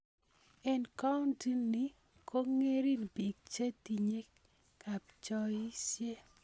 Eng kauntii nik ko ng'ering biik che tinye kapchoisye.